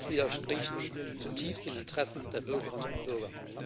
Das widerspricht zutiefst den Interessen der Bürgerinnen und Bürger.